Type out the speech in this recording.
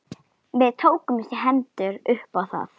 Við tókumst í hendur upp á það.